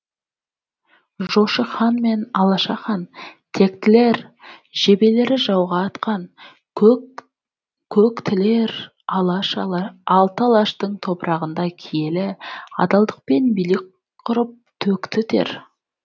жошы хан мен алаша хан тектілер жебелері жауға атқан көк тілер алты алаштың топырағында киелі адалдықпен билік құрып төкті тер